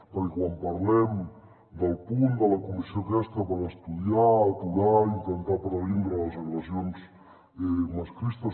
perquè quan parlem del punt de la comissió aquesta per estudiar aturar i intentar previndre les agressions masclistes